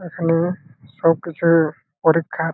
এখনে-এ সব কিছু-উ পরীক্ষা --